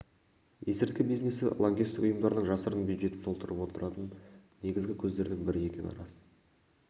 есірткі бизнесі лаңкестік ұйымдардың жасырын бюджетін толтырып отыратын негізгі көздердің бірі екені рас